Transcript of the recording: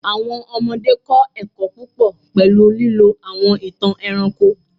Awọn ọmọde kọ ẹkọ pupọ pẹlu lilo awọn itan ẹranko